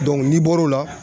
n'i bɔr'o la